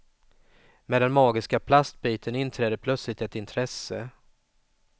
Med den magiska plastbiten inträder plötsligt ett intresse.